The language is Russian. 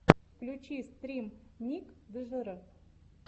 включи стрим ник джр